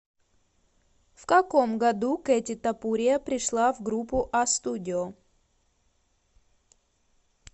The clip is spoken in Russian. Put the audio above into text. в каком году кэти топурия пришла в группу а студио